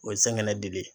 O ye saŋɛnɛ di